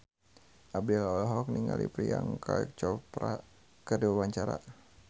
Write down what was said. Abdel olohok ningali Priyanka Chopra keur diwawancara